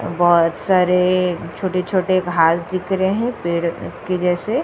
बहुत सारे छोटे-छोटे घांस दिख रहे हैं पेड़ के जैसे --